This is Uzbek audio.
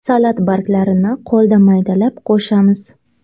Salat barglarini qo‘lda maydalab qo‘shamiz.